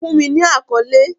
Fun mi ni akọle!